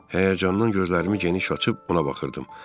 Həyəcandan gözlərimi geniş açıb ona baxırdım.